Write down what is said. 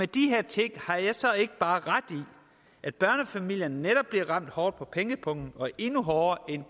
de her ting har jeg så ikke bare ret i at børnefamilierne netop bliver ramt hårdt på pengepungen og endnu hårdere end